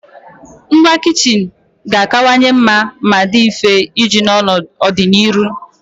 Ngwa kichin ga-akawanye mma ma dị mfe iji n'ọdịnihu